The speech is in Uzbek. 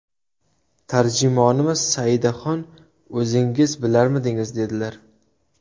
Tarjimonimiz ‘Saidaxon, o‘zingiz bilarmidingiz?’, dedilar.